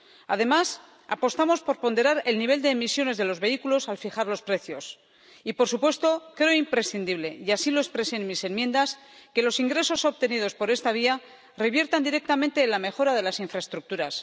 Además, apostamos por ponderar el nivel de emisiones de los vehículos al fijar los precios y, por supuesto, creo imprescindible —y así lo expresé en mis enmiendas— que los ingresos obtenidos por esta vía reviertan directamente en la mejora de las infraestructuras.